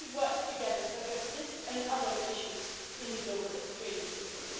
We should work together to address this and other issues in the global trading system.